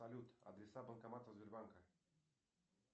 салют адреса банкоматов сбербанка